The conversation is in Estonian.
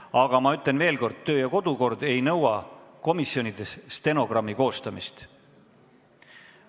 Aga ma ütlen veel kord, kodu- ja töökorra seadus ei nõua komisjonides stenogrammi koostamist.